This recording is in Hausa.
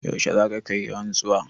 Yaushe za ka yi rantsuwa?